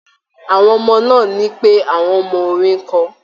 Àwọn ọmọ náà ní pé àwọn mọ orin kọ